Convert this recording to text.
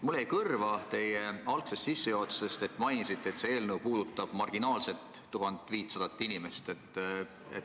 Mulle jäi teie sissejuhatusest kõrva, et te mainisite, et see eelnõu puudutab marginaalset 1500 inimest.